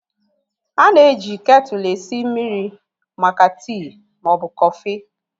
A na-eji ketu esi mmiri maka tii ma ọ bụ kọfị.